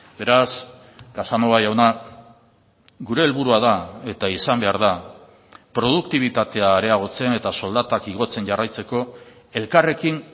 beraz casanova jauna gure helburua da eta izan behar da produktibitatea areagotzen eta soldatak igotzen jarraitzeko elkarrekin